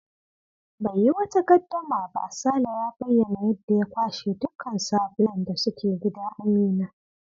Bai yi wata gaddama ba, Sale ya bayyana yadda ya kwashe dukkan sabulan da suke gida Amina.